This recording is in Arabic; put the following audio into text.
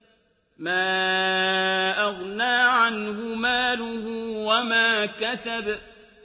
مَا أَغْنَىٰ عَنْهُ مَالُهُ وَمَا كَسَبَ